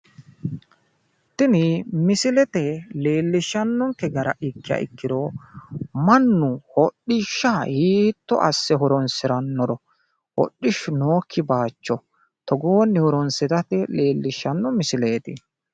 tini misilete leellishshannonkeha gara ikkiha ikkiro mannu hodhishsha hiitto asse horonsirannoro hodhishu nookki bayiicho togooni horonsirate leellishshanno misileeti.